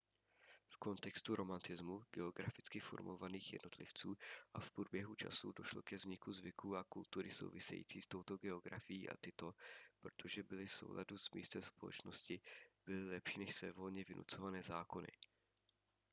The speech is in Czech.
v kontextu romantismu geograficky formovaných jednotlivců a v průběhu času došlo ke vzniku zvyků a kultury související s touto geografií a tyto protože byly v souladu s místem společnosti byly lepší než svévolně vynucované zákony